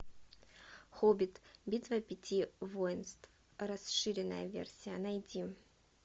хоббит битва пяти воинств расширенная версия найди